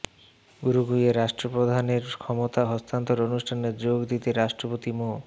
উরুগুয়ের রাষ্ট্রপ্রধানের ক্ষমতা হস্তান্তর অনুষ্ঠানে যোগ দিতে রাষ্ট্রপতি মো